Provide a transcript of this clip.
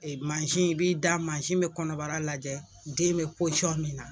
Ni mansi in i b'i da masin bɛ kɔnɔbara lajɛ den bɛ pɔsiyɔn min na.